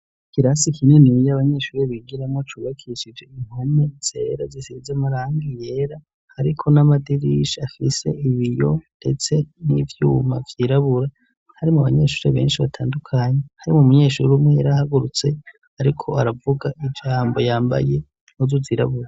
Ikirasi kininiya abanyeshure bigiramwo cubakishije impome zera zisize amarangi yera hariko n'amadirisha afise ibiyo ndetse n'ivyuma vyirabura harimwo abanyeshure benshi batandukanye, harimwo umunyeshuri umwe yarahagurutse ariko aravuga ijambo yambaye impuzu zirabura.